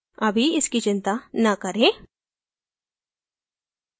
अभी इनकी चिंता न करें